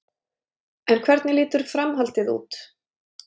En hvernig lítur framhaldið út?